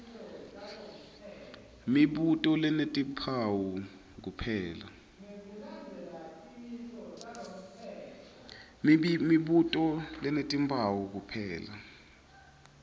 mibuto lenetimphawu kuphela